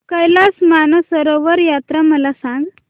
कैलास मानसरोवर यात्रा मला सांग